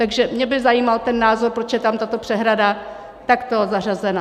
Takže mě by zajímal ten názor, proč je tam tato přehrada takto zařazena.